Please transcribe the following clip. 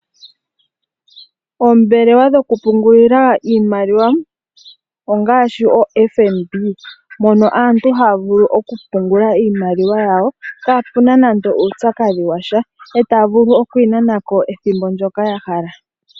Oombelelwa dhokupungulila iimaliwa ongaashi o FNB mono aantu haya vulu okupungula iimaliwa yawo kapuna nando uupyakadhi washa,e taya vulu okuyi nanako ethimbo ndoka ya hala .